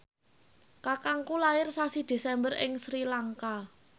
kakangku lair sasi Desember ing Sri Lanka